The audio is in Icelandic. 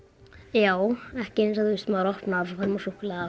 já ekki eins og maður opnar og svo fær maður súkkulaði